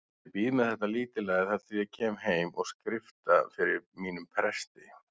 Ég bíð með þetta lítilræði þar til ég kem heim og skrifta fyrir mínum presti.